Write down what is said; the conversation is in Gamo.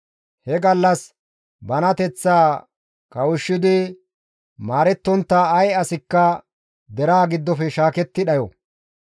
He gallas banateththaa kawushshidi maarettontta ay asikka deraa giddofe shaaketti dhayo.